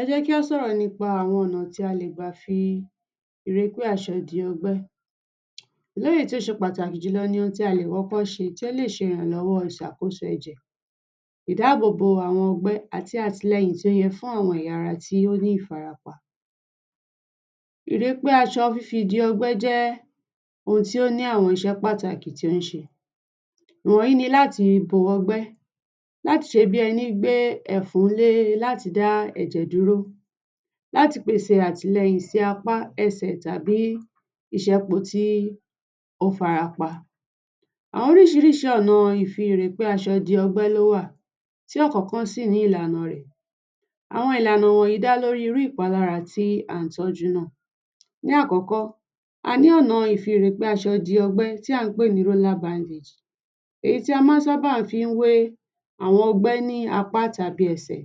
Ẹ jẹ́ kí á sọ̀rọ̀ nípa àwọn ọ̀nà tí a lè gbà fi ri pé àṣẹ di ọgbẹ́. Léyìí tó ṣe pàtàkì jù lọ ni ohun tí a lè kókó ṣe tí ó lè ṣe ìrànlọ́wọ́ ìṣàkóso ẹ̀jẹ̀. Ìdáàbòbò àwọn ọgbẹ́ àti àtìlẹyìn tí ó yẹ fún àwọn ẹ̀ya ara tí ó ní ìfarapa. Ìrí pé aṣọ fi di ọgbẹ́ jẹ́ ohun tí ó ní àwọn iṣẹ́ pàtàkì tí ó ń ṣe. Ìwọ̀nyí ni láti bo ọgbẹ́, láti ṣe bí ẹní gbé ẹ̀fún le láti dá ẹ̀jẹ̀ dúró, láti pèsè àtìlẹyìn si apá, ẹsẹ̀ tàbí ìṣẹpò tí ó fara pá. Àwọn oríṣiríṣi ọ̀nà ìfìrî àṣẹ di ọgbẹ́ ló wà, tí ọ̀kọ̀ọ̀kan sì ní ìlànà rẹ̀. Àwọn ìlànà wọ̀nyí dá lórí irú ìpalára tí à ń tọ́jú náà. Ní àkọ́kọ́, a ní ọ̀nà ìfìrî pé aṣọ di ọgbẹ́ tán àn ń pè ní roller bandage, èyí tí a máa ń sábà fi ń wé àwọn ọgbẹ́ ní apá tàbí ẹsẹ̀.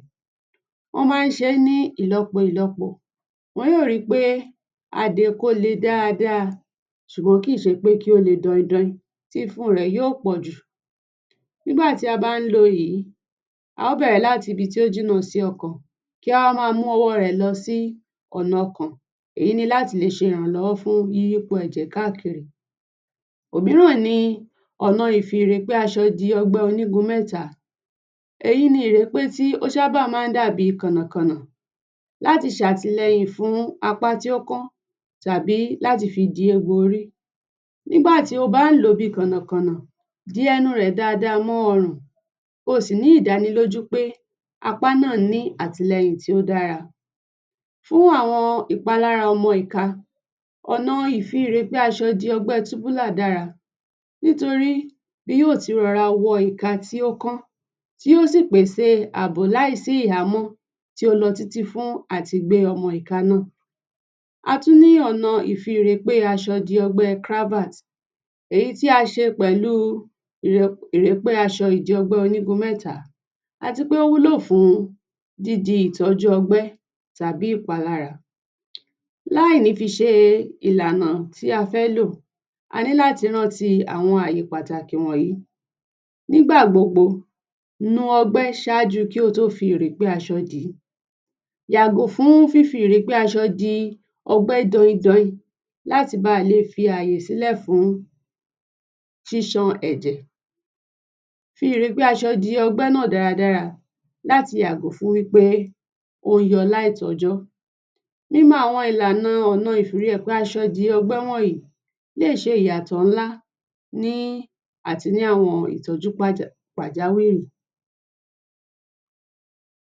Wọ́n máa ń ṣe é ní ìlọ́po ìlọ́po, wọn yóò ri pé a dè é kó le dáadáa, ṣùgbọ́n kì í ṣe pé kí ó le dọin dọin tí fún rẹ̀ yóò pọ̀ jù. Nígbà tí a bá ń lo èyí, a ó bẹ̀rẹ̀ láti ibi tí ó jìnnà sí ọkàn, kí á ó máa mú ọwọ́ọ rẹ̀ lọ sí ọ̀nà ọkàn èyí ni láti lè ṣe ìrànlọ́wọ́ fún yíyí po ẹ̀jẹ̀ káàkiri. Òmíràn ni ọ̀nà ìfìrî pé aṣọ di ọgbẹ́ onígun mẹ́ta. Èyí ni ìrípé tí ó sábà máa ń dàbí kọ̀nà-kọ̀nà láti ṣàtìlẹyìn fún apá tí ó kán tàbí láti fi di egbò orí. Nígbà tí o bá ń lò ó bí kọ̀nà-kọ̀nà, di ẹnu rẹ̀ dáada mọ́ ọrùn kí o sì ní ìdánilójú pé apá náà ní àtìlẹyìn tí ó dára. Fún àwọn ìpalára ọmọ ìka, ọ̀nà ìfìrî pé aṣọ di ọgbẹ́ túbúlà dára nítorí bí yóò ti rọra wọ ìka tí ó kán, tí yóò sì pèsè àbò láìsí íhamọ́ tó lọ títí fún àti gbé ọmọ ìka náà. A tún ní ọ̀nà ìfìrî pé aṣọ di ọgbẹ́ Kravat èyí tí a ṣe pẹ̀lú ìrẹ̀pẹ́ aṣọ ìdí ọgbẹ́ onígun mẹ́ta, àti pé ó wúlò fún dídi ìtọ́jú ọgbẹ́ tàbí ìpalára. Láìní fi ṣe ìlànà tí a fẹ́ lò, a ní láti rántí àwọn àyè pàtàkì wọ̀nyí: ní gbà gbogbo, nu ọgbẹ́ ṣáájú kí o tó fi ìrèpé aṣọ dì í, yàgò fún fífi ìrèpé aṣọ di ọgbẹ́ dọin dọin láti ba le fi àyè sílẹ̀ fún sísan ẹ̀jẹ̀, fi ìrèpé aṣọ náà di ọgbẹ́ náà dára láti yàgò fún wí pé ó ń tọ láì tọ́jọ́. Mímọ àwọn ìlànà ọ̀nà ìfìrî pé aṣọ di ọgbẹ́ wọ̀nyí, lè ṣe ìyàtọ̀ ńlá ní àti ní àwọn ìtọ́jú pàjáwìrì.